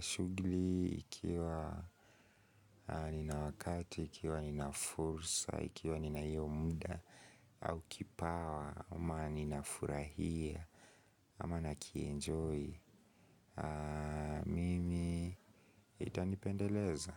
Shuguli ikiwa nina wakati, ikiwa nina fursa, ikiwa nina hiyo muda, au kipawa, ama ninafurahia, ama nakienjoy. Mimi itanipendeleza.